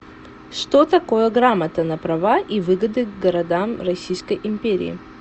что такое грамота на права и выгоды городам российской империи